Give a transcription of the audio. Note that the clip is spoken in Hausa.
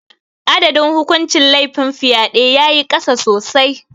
Adadin hukuncin laifin fyade ya yi ƙasa sosai.